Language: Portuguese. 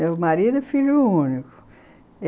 Meu marido e filho único.